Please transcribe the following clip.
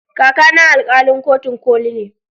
Kaka na alkalin kotun koli ne